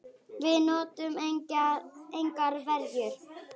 Við notuðum engar verjur.